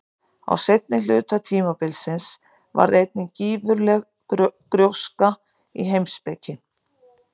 Á seinni hluta tímabilsins varð einnig gífurleg gróska í heimspeki.